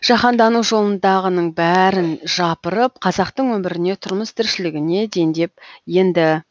жаһандану жолындағының бәрін жапырып қазақтың өміріне тұрмыс тіршілігіне дендеп енді